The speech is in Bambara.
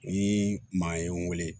Ni maa ye n wele